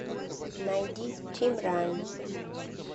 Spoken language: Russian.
найди тимран